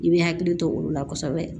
I bɛ hakili to olu la kosɛbɛ